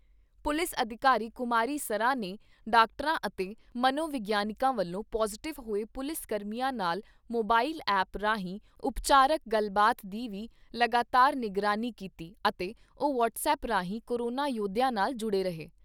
Police ਅਧਿਕਾਰੀ ਕੁਮਾਰੀ ਸਰਾਂ ਨੇ ਡਾਕਟਰਾਂ ਅਤੇ ਮਨੋ ਵਿਗਿਆਨਕਾਂ ਵੱਲੋਂ ਪੌਜ਼ਿਟਿਵ ਹੋਏ ਪੁਲਿਸ ਕਰਮੀਆਂ ਨਾਲ ਮੋਬਾਇਲ ਐਪ ਰਾਹੀਂ ਉਪਚਾਰਕ ਗੱਲਬਾਤ ਦੀ ਵੀ ਲਗਾਤਾਰ ਨਿਗਰਾਨੀ ਕੀਤੀ ਅਤੇ ਉਹ ਵਟੱਸਐਪ ਰਾਹੀਂ ਕੋਰੋਨਾ ਯੋਧਿਆਂ ਨਾਲ ਜੁੜੇ ਰਹੇ।